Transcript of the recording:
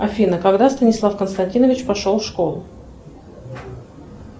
афина когда станислав константинович пошел в школу